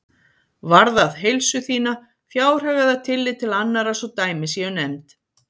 varðað heilsu þína, fjárhag eða tillit til annarra svo dæmi séu nefnd.